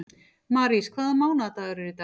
Marís, hvaða mánaðardagur er í dag?